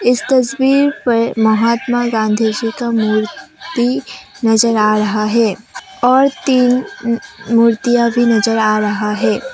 इस तस्वीर पर महात्मा गांधी जी का मूर्ति नजर आ रहा है और तीन मूर्तियां भी नजर आ रहा है।